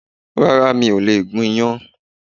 Rárá, mi ò lè gún iyán